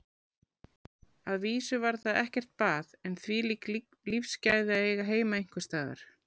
Að vísu var þar ekkert bað en þvílík lífsgæði að eiga heima einhvers staðar.